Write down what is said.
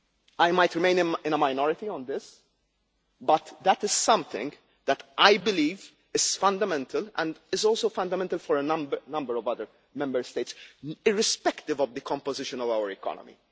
I might remain in a minority on this, but that is something that I believe is fundamental and is also fundamental for a number of other Member States, irrespective of the composition of our economy.